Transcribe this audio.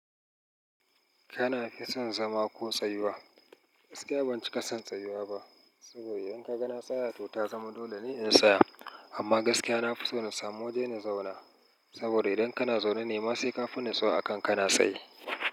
Kana fi son zama ko tsayuwa? Gaskiya ban cika son tsayuwa ba saboda idan ka ga na tsaya to ta zama dole ne in tsaya. Amma gaskiya na fi so na samu waje na zauna saboda idan kana zaune nema sai ka fi nisuwa akan kana tsaye.